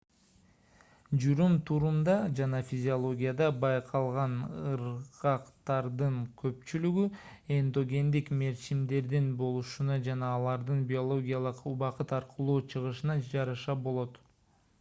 жүрүм-турумда жана физиологияда байкалган ыргактардын көпчүлүгү эндогендик мерчимдердин болушуна жана алардын биологиялык убакыт аркылуу чыгышына жараша болот